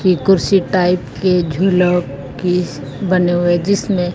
की कुर्सी टाइप के झूलों किस बने हुए जिसमें--